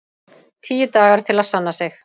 Tíu dagar til að sanna sig